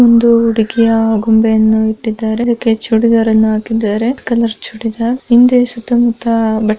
ಒಂದು ಹುಡುಗಿಯ ಗೊಂಬೆಯನ್ನು ಇಟ್ಟಿದ್ದಾರೆ ಅದಕ್ಕೆ ಚೂಡಿದಾರ್ ಅನ್ನು ಹಾಕಿದ್ದಾರೆ ಕಲರ್ ಚೂಡಿದಾರ್ ಹಿಂದೆ ಸುತ್ತ ಮುತ್ತ --